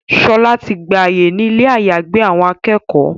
Shola tí gbà àyè ní Ilé àyágbé àwọn akẹ́kọ̀ọ́.